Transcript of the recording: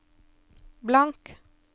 blank